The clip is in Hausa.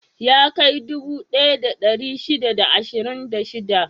Ya kai dubu ɗaya da ɗari shida da ashirin da shida?